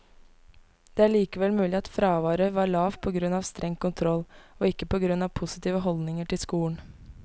Det er likevel mulig at fraværet var lavt på grunn av streng kontroll, og ikke på grunn av positive holdninger til skolen.